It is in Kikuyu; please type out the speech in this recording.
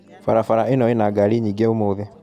Barabara ĩno ĩna ngari nyingĩ ũmũthĩ